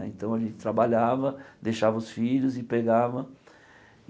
Aí então, a gente trabalhava, deixava os filhos e pegava.